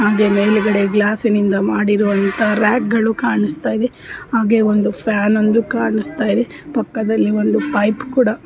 ಹಾಗೆಯೇ ಮೇಲುಗಡೆ ಗ್ಲಾಸ್ಸಿನಿಂದ ಮಾಡಿರುವಂತಹ ರಾಕ್ಗಳು ಕಾಣಿಸ್ತಾ ಇದೆ ಹಾಗೆ ಒಂದು ಫ್ಯಾನ್ ಒಂದು ಕಾಣಿಸ್ತಾ ಇದೆ ಪಕ್ಕದಲ್ಲಿ ಒಂದು ಪೈಪ್ ಕೂಡಾ --